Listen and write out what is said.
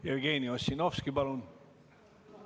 Jevgeni Ossinovski, palun!